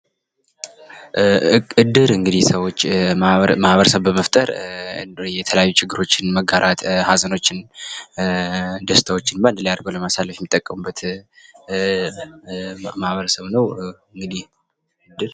እድር እንግዲህ ሰዎች ማህበረሰብ በመፍጠር የተለያዩ ችግሮችን መጋራት ኀዘኖችን ደስታዎችን በአንድ ላይ አድርጎ ለማሳለፍ የሚጠቀሙበት ማህበረሰብ ነው። እንግዲህ እድር